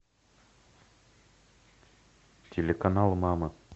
телеканал мама